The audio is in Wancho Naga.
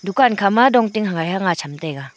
dukan khama dong ting hagai hang aa cham taiga.